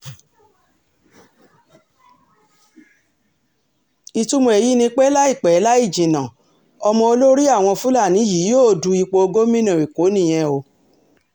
ìtumọ̀ èyí ni pé láìpẹ́ láì jìnnà ọmọ olórí àwọn fúlàní yìí yóò du ipò gómìnà èkó nìyẹn o